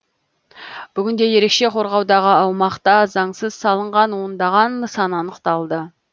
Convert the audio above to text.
бүгінде ерекше қорғаудағы аумақта заңсыз салынған ондаған нысан анықталды